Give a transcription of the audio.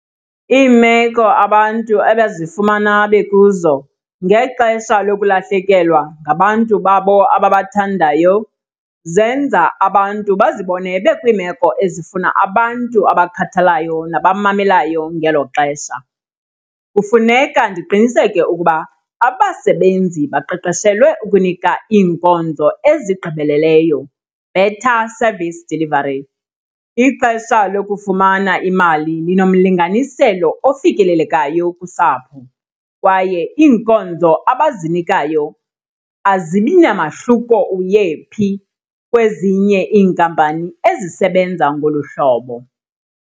Iimeko abantu abazifumana bekuzo ngexesha lokulahlekelwa ngabantu babo ababathandayo zenza abantu bazibone bekwiimeko ezifuna abantu abakhathalayo nabamamelayo ngelo xesha. Kufuneka ndiqiniseke ukuba abasebenzi baqeqeshelwe ukunika iinkonzo ezigqibeleleyo, better service delivery. Ixesha lokufumana imali linomlinganiselo ofikelelekayo kusapho kwaye iinkonzo abazinikayo azibi namahluko uyephi kwezinye iinkampani ezisebenza ngolu hlobo.